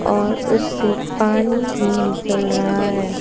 और उससे पानी भी निकल रहा है।